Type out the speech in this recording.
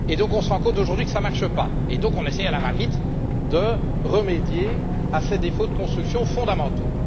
On se rend compte aujourd'hui que cela ne marche pas et on essaie donc, à la va vite, de remédier à ces défauts de construction fondamentaux.